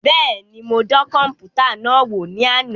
Bẹẹni, mo dàn kọnputa náà wò ní àna